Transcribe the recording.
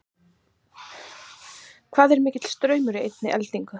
hvað er mikill straumur í einni eldingu